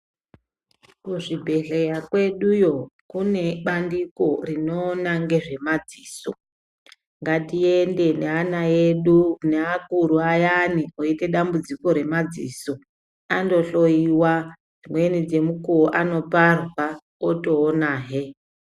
Kuzvibhedhlera kweduyo kune bandiko rinoona nezvemadziso ngatiende neana edu neakuru ayani aita dambudziko remadziso andohloiwa dzimweni dzemukuwo anoparwa otoona he.